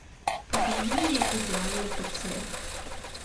покажи мне идеальный пациент